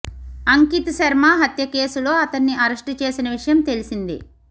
అంకిత్ శర్మ హత్య కేసులో అతన్ని అరెస్టు చేసిన విషయం తెలిసిందే